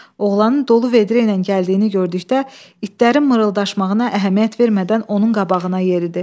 Oğlanın dolu vedrə ilə gəldiyini gördükdə, itlərin mırıldaşmağına əhəmiyyət vermədən onun qabağına yeridi.